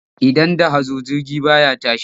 Idan da hazo jirgi ba ya tashi.